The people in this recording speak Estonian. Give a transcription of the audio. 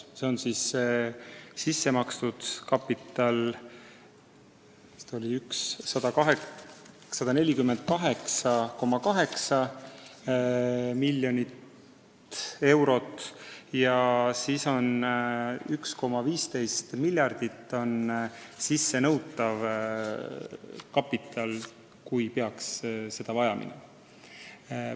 See on sissemakstud kapital – vist oli 148,8 miljonit eurot – ja sissenõutav kapital 1,15 miljardit, kui seda peaks vaja minema.